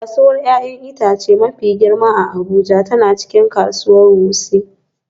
Kasuwar 'ya'yan itace mafi girma a Abuja tana cikin kasuwar Wuse